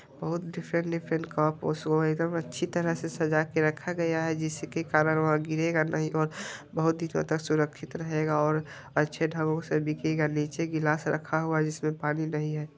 बहुत different different cup और show item है अच्छी तरह से सजा के रखा गया है जिसके कारण वह गिरेगा नही और बहुत ही ज्यादा सुरक्षित रहेगा और अच्छे ढंगो से बिकेगा नीचे ग्लास रखा हुआ जिसमें पानी नहीं है।